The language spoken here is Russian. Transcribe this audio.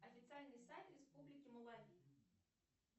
официальный сайт республики малави